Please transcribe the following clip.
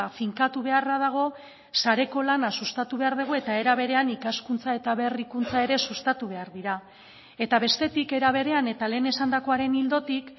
finkatu beharra dago sareko lana sustatu behar dugu eta era berean ikaskuntza eta berrikuntza ere sustatu behar dira eta bestetik era berean eta lehen esandakoaren ildotik